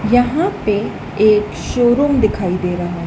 यहां पे एक शोरूम दिखाई दे रहा।